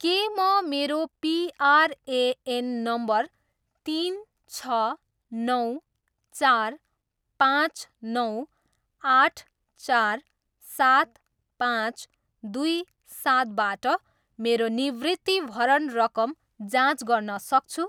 के म मेरो पिआरएएन नम्बर तिन, छ, नौ, चार, पाँच, नौ, आठ, चार, सात, पाँच, दुई, सातबाट मेरो निवृत्तिभरण रकम जाँच गर्न सक्छु?